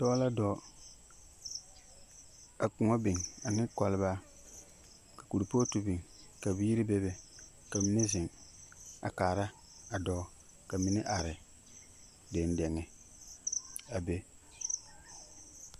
Dɔɔ la dɔɔ a kõɔ biŋ ane kɔlbaa. Ka kurpootu bin ka biiri be be. Ka mine zeŋ a kaara a dɔɔ, ka mine are dendeŋe a be.